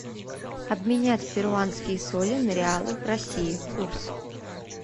обменять перуанские соли на реалы в россии курс